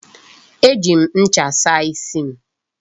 E ji m ncha saa isi m.